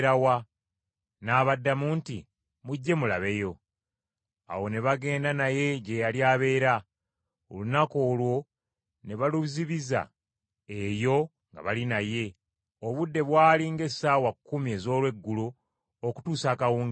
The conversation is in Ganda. N’abaddamu nti, “Mujje mulabeyo.” Awo ne bagenda naye gye yali abeera, olunaku olwo ne baluzibiza eyo nga bali naye, obudde bwali ng’essaawa kkumi ez’olweggulo okutuusa akawungeezi.